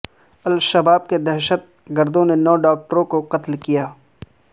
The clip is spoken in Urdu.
الشباب کے دہشت گردوں نے نو ڈاکٹروں کو قتل کیا